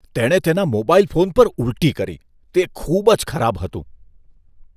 તેણે તેના mobile phone પર ઉલટી કરી. તે ખૂબ જ ખરાબ હતું.